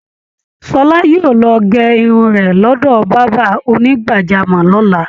Ṣọla yóò lọ gẹ irun rẹ̀ lọ́dọ̀ bàbá onígbàjámọ̀ lọ́la